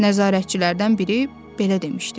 Nəzarətçilərdən biri belə demişdi.